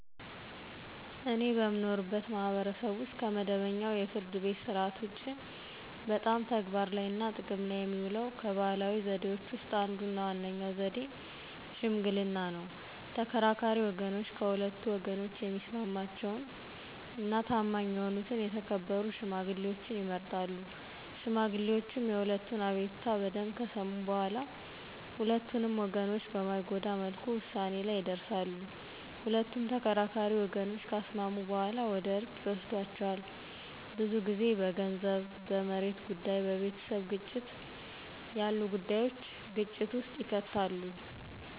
እኔ በምኖርበት ማህበረሰብ ውስጥ ከመደበኛው የፍርድ ቤት ሥርዓት ውጪ በጣም ተግባር ላይ እና ጥቅም ላይ የሚውለው ከባህላዊ ዘዴዎች ውስጥ አንዱ እና ዋነኛው ዘዴ ሽምግልና ነው። ተከራካሪ ወገኖች ከሁለቱ ወገኖች የሚስማማቸውን እና ታማኝ የሆኑ የተከበሩ ሽማግሌዎችን ይመርጣሉ። ሽማግሌዎቹ የሁለቱንም አቤቱታ በደምብ ከሰሙ በኋላ ሁለቱንም ወገኖች በማይጎዳ መልኩ ውሳኔ ላይ ይደርሳሉ። ሁለት ተከራካሪ ወገኖችን ካስማሙ በኋላ ወደ እርቅ ይወስዷቸዋል። ብዙ ጊዜ በገንዘብ፣ በመሬት ጉዳይ፣ በቤተሰብ ግጭት ያሉ ጉዳዩች ግጭት ውስጥ ይከታሉ።